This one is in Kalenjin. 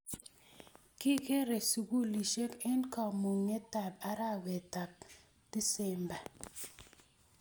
Kikerei sugulisyet eng kamung'etab arawetab december